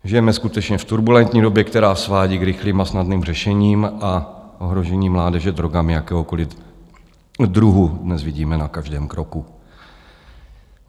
Žijeme skutečně v turbulentní době, která svádí k rychlým a snadným řešením a ohrožení mládeže drogami jakéhokoliv druhu dnes vidíme na každém kroku.